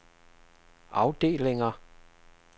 afdelinger